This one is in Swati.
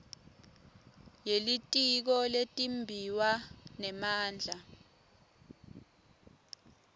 yelitiko letimbiwa nemandla